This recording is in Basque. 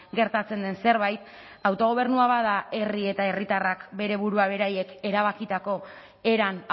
gertatzen den zerbait autogobernua bada herri eta herritarrak bere burua beraiek erabakitako eran